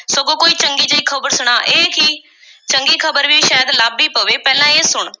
ਸਗੋਂ ਕੋਈ ਚੰਗੀ ਜਿਹੀ ਖ਼ਬਰ ਸੁਣਾ, ਇਹ ਕੀ, ਚੰਗੀ ਖ਼ਬਰ ਵੀ ਸ਼ਾਇਦ ਲੱਭ ਈ ਪਵੇ, ਪਹਿਲਾਂ ਇਹ ਸੁਣ,